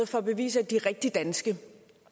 for at bevise at de er rigtig danske